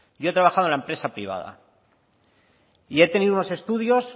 yo he trabajado en la empresa privada y he tenido unos estudios